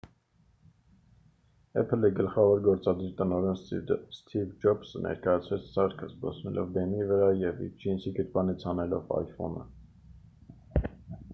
apple-ի գլխավոր գործադիր տնօրեն սթիվ ջոբսը ներկայացրեց սարքը՝ զբոսնելով բեմի վրա և իր ջինսի գրպանից հանելով iphone-ը։